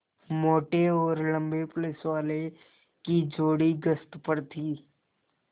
मोटे और लम्बे पुलिसवालों की जोड़ी गश्त पर थी